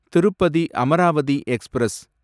Tirupati Amaravati express